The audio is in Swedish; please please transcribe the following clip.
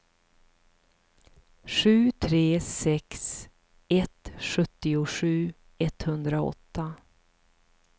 sju tre sex ett sjuttiosju etthundraåtta